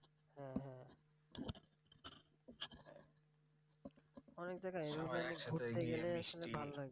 অনেক জায়গা এইরকম ঘুরতে গেলে মানে ভালো লাগে